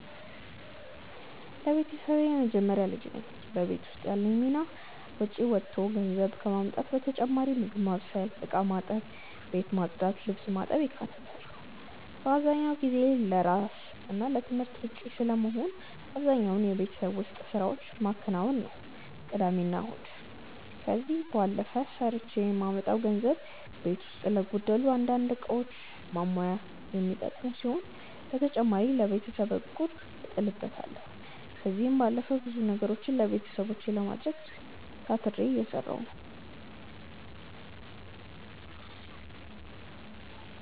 ለቤተሰቤ የመጀመሪያ ልጅ ነኝ። በቤት ውስጥ ያለኝ ሚና ውጪ ወጥቶ ገንዘብ ከማምጣት በተጨማሪ ምግብ ማብሰል፣ እቃ ማጠብ፣ ቤት ማጽዳት፣ ልብስ ማጠብ ይካተታሉ። በአብዛኛው ጊዜ ለስራ እና ለትምህርት ውጪ ስለመሆን አብዛኛውን የቤት ውስጥ ስራዎች መከናውነው ቅዳሜና እሁድ ነው። ከዚህ ባለፈ ሰርቼ ማመጣውን ገንዘብ ቤት ውስጥ ለጎደሉ አንዳንድ እቃዎች ማሞይ የሚጠቀመው ሲሆን በተጨማሪ ለቤተሰብ እቁብ እጥልበታለው። ከዚህም ባለፈ ብዙ ነገሮችን ለቤተሰቦቼ ለማድረግ ታትሬ እየሰራሁ ነው።